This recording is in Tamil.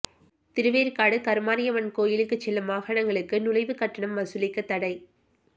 திருவேற்காடு கருமாரியம்மன் கோயிலுக்கு செல்லும் வாகனங்களுக்கு நுழைவுக் கட்டணம் வசூலிக்கத் தடை